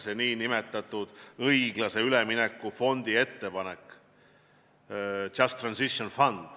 See on see nn õiglase ülemineku fond .